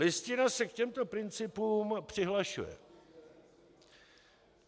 Listina se k těmto principům přihlašuje.